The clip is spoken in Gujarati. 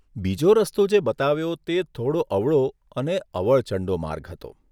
બીજો રસ્તો જે બતાવ્યો તે થોડો અવળો અને અવળચંડો માર્ગ હતો.